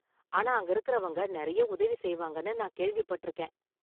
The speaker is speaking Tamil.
ஆனா, அங்க இருக்கறவங்க நெறைய உதவி செய்வாங்கனு நான் கேள்விப்பட்டிருக்கேன்.